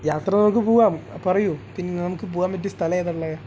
യാത്ര നമുക്ക് പൂവാം പറയു പിന്നെ നമുക്ക് പോകാൻ പറ്റിയ സ്ഥലം ഏതാ ഇള്ളെ